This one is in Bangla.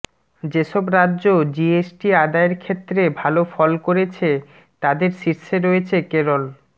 যেসব রাজ্য জিএসটি আদায়ের ক্ষেত্রে ভালো ফল করেছে তাদের শীর্ষে রয়েছে কেরল